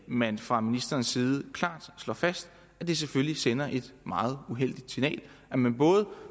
man fra ministerens side klart slår fast at det selvfølgelig sender et meget uheldigt signal når man